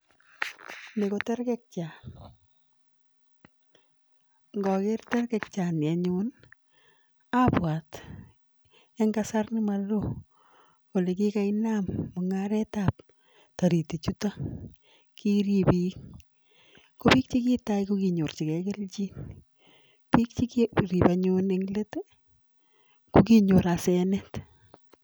Ni ko terkekyaat ngakeer terkekyaat kounii akeree kipakamanuut piik chekiripe neng let ko kinyor asenet